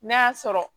N'a y'a sɔrɔ